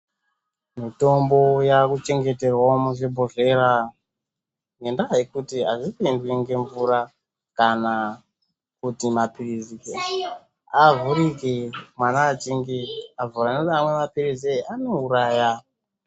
Mitombo yaakuchengeterwe muzvibhodhlera, ngendaa yekuti, azvipindwi ngemvura, kuti maphirizi avhurike mwana achinge avhura nekuti mamwe maphirizi anouraya.